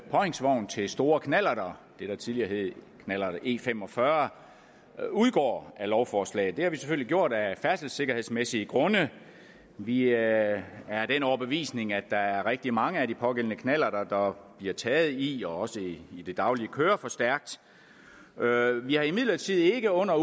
påhængsvogn til store knallerter det der tidligere hed knallerter e45 udgår af lovforslaget det har vi selvfølgelig gjort af færdselssikkerhedsmæssige grunde vi er af den overbevisning at der er rigtig mange af de pågældende knallerter der bliver taget i og også i det daglige kører for stærkt vi har imidlertid ikke under